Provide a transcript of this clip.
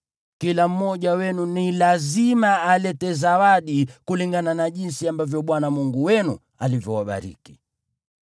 Kila mmoja wenu ni lazima alete zawadi kulingana na jinsi ambavyo Bwana Mungu wenu alivyowabariki.